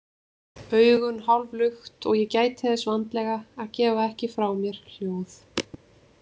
Augun hálflukt og ég gæti þess vandlega að gefa ekki frá mér hljóð.